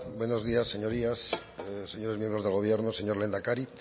buenos días señorías señores miembros del gobierno señor lehendakari